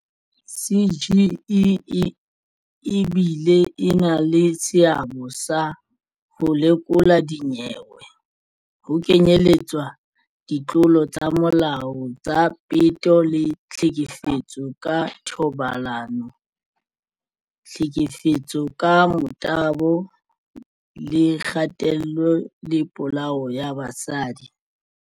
CGE e bile e na le seabo sa ho lekola dinyewe, ho kenyeletswa ditlolo tsa molao tsa peto le ditlhekefetso ka thobalano, tlhekefetso ka motabo le kgatello le polao ya basadi.